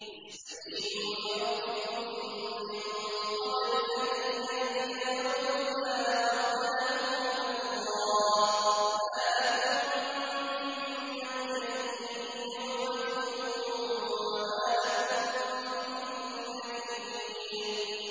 اسْتَجِيبُوا لِرَبِّكُم مِّن قَبْلِ أَن يَأْتِيَ يَوْمٌ لَّا مَرَدَّ لَهُ مِنَ اللَّهِ ۚ مَا لَكُم مِّن مَّلْجَإٍ يَوْمَئِذٍ وَمَا لَكُم مِّن نَّكِيرٍ